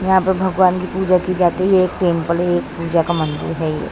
यहाँ भगवान की पुजा की जाती है एक टेम्पल है एक पूजा का मंदिर है।